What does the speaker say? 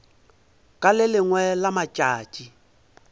ka le lengwe la matšatši